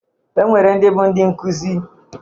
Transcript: Enwere ndị bụ ndị nkuzi.